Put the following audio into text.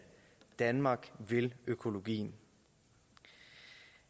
danmark vil økologien